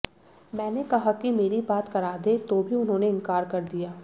मैंने कहा कि मेरी बात करा दें तो भी उन्होंने इनकार कर दिया